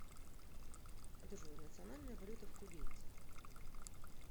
джой национальная валюта в кувейте